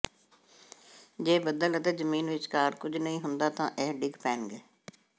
ਜੇ ਬੱਦਲ ਅਤੇ ਜ਼ਮੀਨ ਵਿਚਕਾਰ ਕੁਝ ਨਹੀਂ ਹੁੰਦਾ ਤਾਂ ਇਹ ਡਿੱਗ ਪੈਣਗੇ